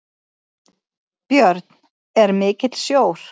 Björn: Er mikill sjór?